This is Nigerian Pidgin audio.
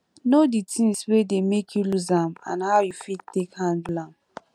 know di things wey dey make you loose am and how you fit take handle am